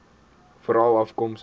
veralafkomstig